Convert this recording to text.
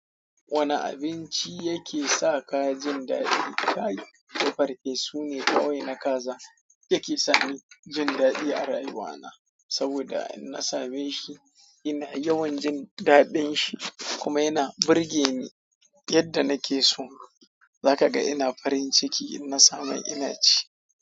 Wane abinci yake sa ka jin daɗi? Kayin da farfe sune kawai na kaza yake sani jin daɗi a rayuwa na, saboda in na same shi ina yawan jin daɗin shi kuma yana burge ni yadda nake so. Zakaga ina farin ciki innasamai inaci.